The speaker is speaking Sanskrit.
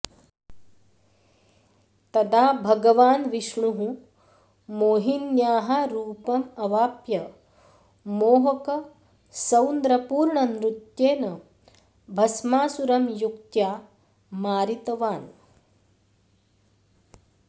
तदा भागवान् विष्णुः मोहिन्याः रूपम् अवाप्य मोहकसौन्द्रपूर्णनृत्येन भस्मासुरं युक्त्या मारितवान्